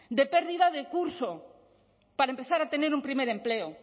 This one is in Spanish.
de pérdida de curso para empezar a tener un primer empleo